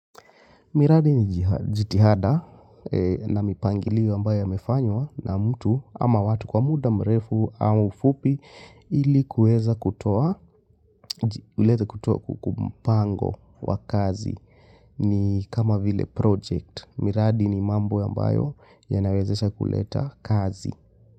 Miradi nijitihada na mipangilio ambayo yamefanywa na mtu ama watu kwa muda mrefu au fupi ilikuweza kutoa, mpango wa kazi ni kama vile project. Miradi ni mambo ambayo yanawezesha kuleta kazi.